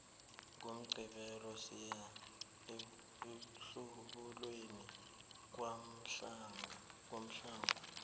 ngomgqibelo siya emhlubulweni kwamahlangu